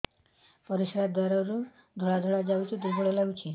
ପରିଶ୍ରା ଦ୍ୱାର ରୁ ଧଳା ଧଳା ଯାଉଚି ଦୁର୍ବଳ ଲାଗୁଚି